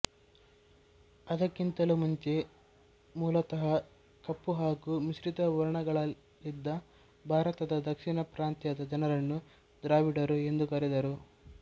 ಅದಕ್ಕಿಂತಲೂ ಮುಂಚೆ ಮೂಲತಹ ಕಪ್ಪು ಹಾಗು ಮಿಶ್ರಿತ ವರ್ಣಗಳಲ್ಲಿದ್ದ ಭಾರತದ ದಕ್ಷಿಣ ಪ್ರಾಂತ್ಯದ ಜನರನ್ನು ದ್ರಾವಿಡರು ಎಂದು ಕರೆದರು